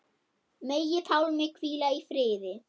Megi Pálmi hvíla í friði.